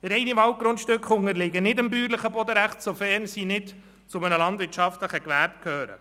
Reine Waldgrundstücke unterliegen nicht dem bäuerlichen Bodenrecht, sofern sie nicht zu einem landwirtschaftlichen Gewerbe gehören.